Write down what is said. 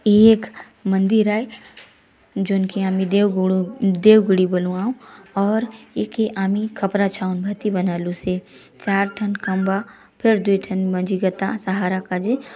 ये एक मंदिर आय जोन के आमी देव गुडो देव गुड़ी बलुआऊ और ऐके आमी खपरा छाऊन भाति बना लू से चार टन खम्बा फेर दुय टन मंझि गता सहारा काजे।